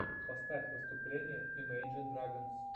поставь выступление имейджин драгонс